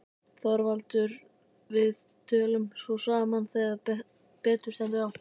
ÞORVALDUR: Við tölum svo saman þegar betur stendur á.